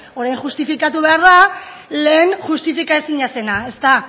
orain justifikatu behar da lehen justifika ezina zena ezta